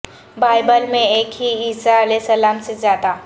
Bible میں ایک ہی عیسی علیہ السلام سے زیادہ